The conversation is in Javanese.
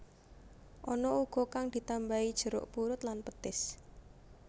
Ana uga kang ditambahi jeruk purut lan petis